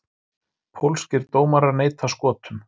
Pólskir dómarar neita Skotum